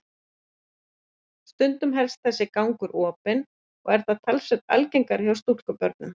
Stundum helst þessi gangur opinn og er það talsvert algengara hjá stúlkubörnum.